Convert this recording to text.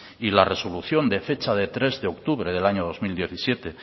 y la resolución de fecha de tres de octubre del año dos mil diecisiete